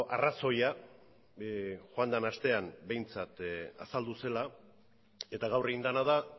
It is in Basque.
arrazoia joan den astean behintzat azaldu zela eta gaur egin dena da